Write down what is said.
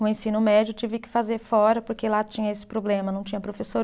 O ensino médio eu tive que fazer fora porque lá tinha esse problema, não tinha professor.